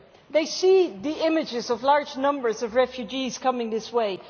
They see the images of large numbers of refugees coming this way.